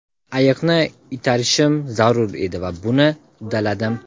Ayiqni itarishim zarur edi va buni uddaladim.